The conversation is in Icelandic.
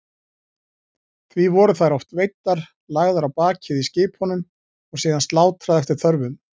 Því voru þær oft veiddar, lagðar á bakið í skipunum og síðan slátrað eftir þörfum.